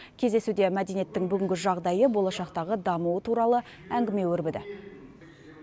кездесуде мәдениеттің бүгінгі жағдайы болашақтағы дамуы туралы әңгіме өрбіді